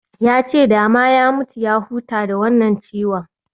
Ya ce dama ya mutu ya huta da wannan ciwon